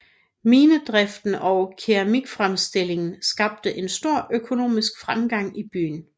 Minedriften og keramikfremstillingen skabte en stor økonomisk fremgang i byen